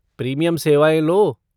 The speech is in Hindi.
प्रीमियम सेवाएँ लो।